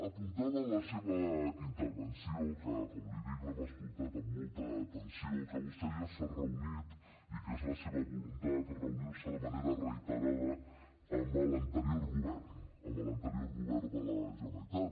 apuntava en la seva intervenció que com l’hi dic l’hem escoltat amb molta atenció que vostè ja s’ha reunit i que és la seva voluntat reunir se de manera reiterada amb l’anterior govern amb l’anterior govern de la generalitat